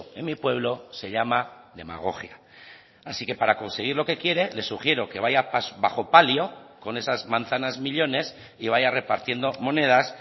en mi pueblo se llama demagogia así que para conseguir lo que quiere le sugiero que vaya bajo palio con esas manzanas millónes y vaya repartiendo monedas